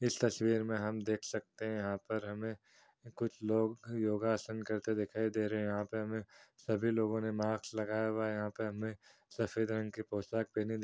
इस तस्वीर में हम देख सकते है यहाँ पर हमें कुछ लोग योगासन करते हुए दिखाई दे रहे है यहाँ पे हमें सभी लोगों ने मास्क लगाया हुआ है यहाँ पे हमें सफेद रंग की पोशाक पहने दिख --